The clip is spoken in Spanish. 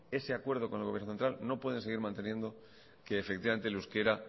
ese acuerdo con el gobierno central no pueden seguir manteniendo que efectivamente el euskera